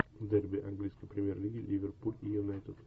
дерби английской премьер лиги ливерпуль и юнайтед